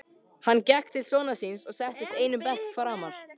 Hann gekk til sonar síns og settist einum bekk framar.